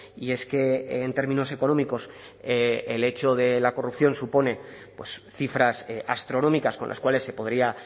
y es que en términos económicos el hecho de la corrupción supone cifras astronómicas con las cuales se podría